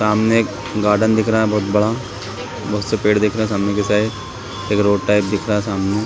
सामने एक गार्डन दिख रहा बहुत बड़ा बहुत से पेड़ दिख रहे सामने के साइड एक रोड टाइप दिख रहा सामने--